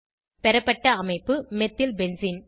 பெறப்பட்ட அமைப்பு methyl benzene